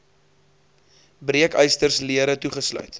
breekysters lere toegesluit